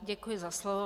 Děkuji za slovo.